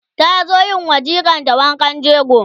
ta zo yiwa jikar ta wankan jego